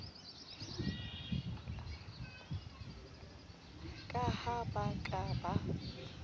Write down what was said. ka ha ba ka ba